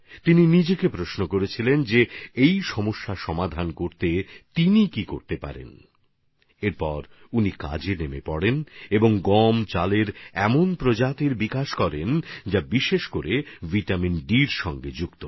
তিনি ভাবেন এই সমস্যার সমাধানে কী করা যায় এর পর তিনি পরিশ্রম করে গম আর চালের এমন সব প্রজাতি তৈরি করেন যেগুলি বিশেষভাবে ভিটামিন ডি যুক্ত